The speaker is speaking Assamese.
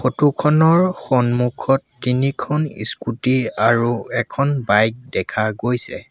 ফটো খনৰ সন্মুখত তিনিখন স্কুটি আৰু এখন বাইক দেখা গৈছে।